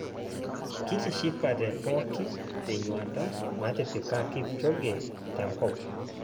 Kitishapte pookin te nyuata natipika Kipchoge tenkop